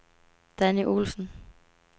Danni Olesen